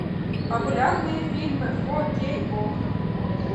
популярные фильмы фо кей окко